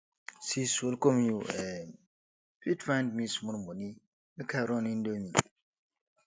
sis welcome you um fit find me small moni make i run indomie